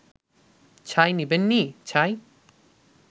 ছাই নিবেন নি…ছাই